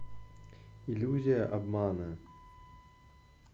иллюзия обмана